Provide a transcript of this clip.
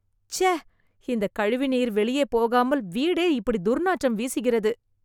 சே.. இந்த கழிவுநீர் வெளியே போகாமல், வீடே இப்படி துர்நாற்றம் வீசுகிறது